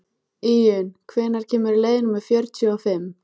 Íunn, hvenær kemur leið númer fjörutíu og fimm?